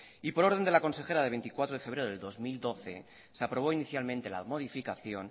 y por orden de la consejera de veinticuatro de febrero del dos mil doce se aprobó inicialmente la modificación